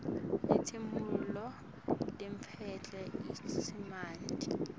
timphumulo letiphuma lokusamanti